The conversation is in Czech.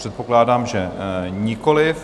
Předpokládám, že nikoliv.